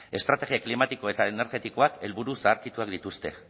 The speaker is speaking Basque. estrategia klimatikoa eta energetikoak helburu zaharkituak dituzte